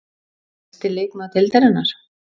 Besti leikmaður Deildarinnar?